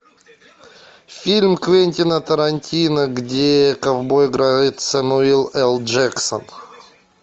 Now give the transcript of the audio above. фильм квентина тарантино где ковбоя играет самуэль эль джексон